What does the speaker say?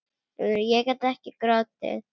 Ég gat ekki grátið.